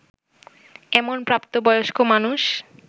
এমন প্রাপ্তবয়স্ক মানুষ